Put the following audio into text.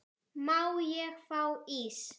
Má ég fá ís?